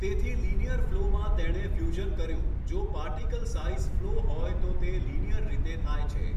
તેથી લીનીયર ફ્લોમાં તેણે ફ્યુઝન કર્યું જો પાર્ટિકલ સાઈઝ ફ્લો હોય તો તે લીનીયર રીતે થાય છે.